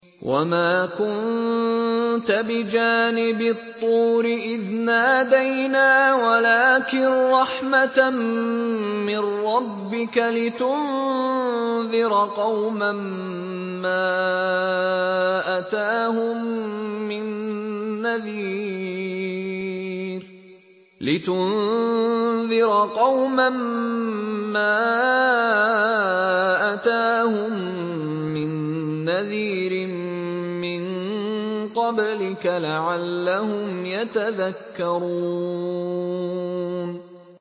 وَمَا كُنتَ بِجَانِبِ الطُّورِ إِذْ نَادَيْنَا وَلَٰكِن رَّحْمَةً مِّن رَّبِّكَ لِتُنذِرَ قَوْمًا مَّا أَتَاهُم مِّن نَّذِيرٍ مِّن قَبْلِكَ لَعَلَّهُمْ يَتَذَكَّرُونَ